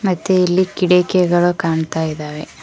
ಮತ್ತೆ ಇಲ್ಲಿ ಕಿಡಕೆಗಳು ಕಾಣ್ತಾ ಇದಾವೆ.